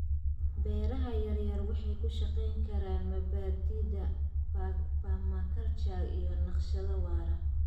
Beeraha yaryar waxay ku shaqeyn karaan mabaadi'da permaculture iyo naqshad waara.